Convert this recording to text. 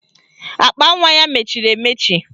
Akpanwa ya mechiri emechi